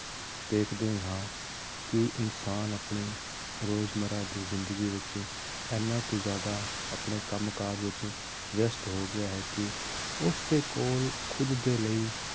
ਦੇਖਦੇ ਹੀ ਹਾਂ ਕਿ ਇਨਸਾਨ ਆਪਣੇ ਰੋਜ਼ ਮਰਰਾ ਦੀ ਜ਼ਿੰਦਗੀ ਵਿੱਚ ਇੰਨਾ ਕੁ ਜ਼ਿਆਦਾ ਆਪਣੇ ਕੰਮ ਕਾਜ ਵਿੱਚ ਵਿਅਸ਼ਤ ਹੋ ਗਿਆ ਹੈ ਕਿ ਉਸਦੇ ਕੋਲ ਖੁੱਦ ਦੇ ਲਈ